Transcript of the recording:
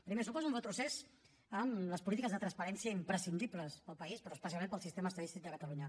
primer suposa un retrocés en les polítiques de transparència imprescindibles per al país però especialment per al sistema estadístic de catalunya